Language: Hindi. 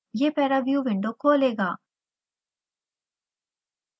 यह paraview window खोलेगा